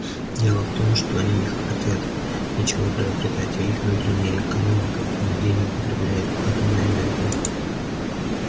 дело в том что они не хотят ничего приобретать а их внутренняя экономика нигде не употребляет атомной энергии